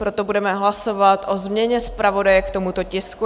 Proto budeme hlasovat o změně zpravodaje k tomuto tisku.